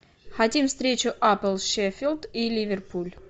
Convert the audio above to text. хотим встречу апл шеффилд и ливерпуль